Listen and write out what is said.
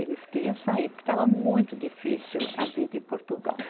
Eles queriam sair, porque estava muito difícil a vida em Portugal.